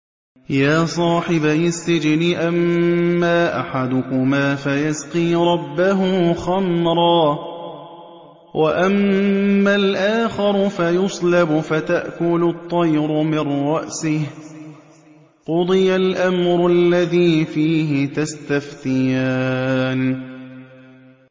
يَا صَاحِبَيِ السِّجْنِ أَمَّا أَحَدُكُمَا فَيَسْقِي رَبَّهُ خَمْرًا ۖ وَأَمَّا الْآخَرُ فَيُصْلَبُ فَتَأْكُلُ الطَّيْرُ مِن رَّأْسِهِ ۚ قُضِيَ الْأَمْرُ الَّذِي فِيهِ تَسْتَفْتِيَانِ